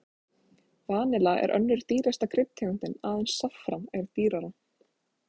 Vanilla er önnur dýrasta kryddtegundin, aðeins saffran er dýrara.